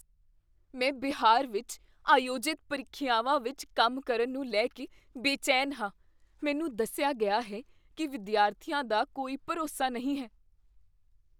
ਮੈਂ ਬਿਹਾਰ ਵਿੱਚ ਆਯੋਜਿਤ ਪ੍ਰੀਖਿਆਵਾਂ ਵਿੱਚ ਕੰਮ ਕਰਨ ਨੂੰ ਲੈ ਕੇ ਬੇਚੈਨ ਹਾਂ। ਮੈਨੂੰ ਦੱਸਿਆ ਗਿਆ ਹੈ ਕੀ ਵਿਦਿਆਰਥੀਆਂ ਦਾ ਕੋਈ ਭਰੋਸਾ ਨਹੀਂ ਹੈ।